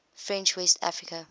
french west africa